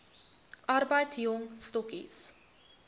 arbeid jong stokkies